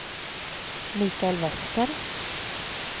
Michael Wester